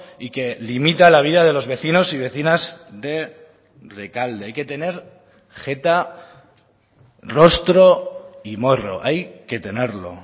y que limita la vida de los vecinos y vecinas de rekalde hay que tener jeta rostro y morro hay que tenerlo